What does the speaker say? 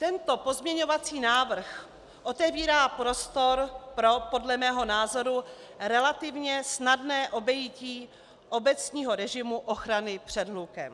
Tento pozměňovací návrh otevírá prostor pro podle mého názoru relativně snadné obejití obecního režimu ochrany před hlukem.